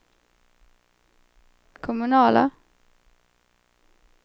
kommunala